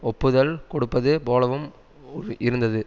ஒப்புதல் கொடுப்பது போலவும் இருந்தது